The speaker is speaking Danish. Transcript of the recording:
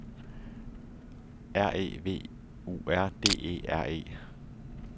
R E V U R D E R E